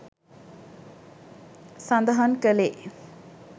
සඳහන් කළේ